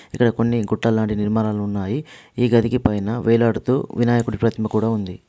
ఇక్కడ కొన్ని గుట్టల్ లాంటి నిర్మాణాలు ఉన్నాయి ఈ గదికి పైన వేలాడుతూ వినాయకుడి ప్రతిమ కూడా ఉంది.